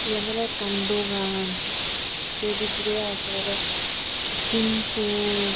Eyen oley ekkan dogan ei bidirey agey simpoo.